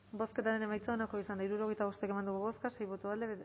bozketaren emaitza onako izan da hirurogeita bost eman dugu bozka sei boto alde